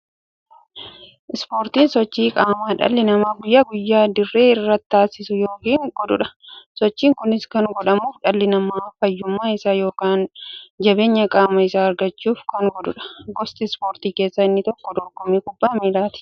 Ispoortiin sochii qaamaa dhalli namaa guyyaa guyyaan dirree irratti taasisu yookiin godhuudha. Sochiin kunis kan godhamuuf, dhalli namaa fayyummaa isaa yookiin jabeenya qaama isaa argachuuf kan godhaniidha. Gosa ispoortii keessaa inni tokko dorgommii kubbaa milaati.